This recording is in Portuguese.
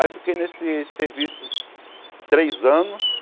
Aí eu fiquei nesses serviços três anos.